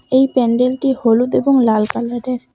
এই প্যান্ডেলটি হলুদ এবং লাল কালারের।